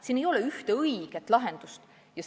Siin ei ole ühte õiget lahendust.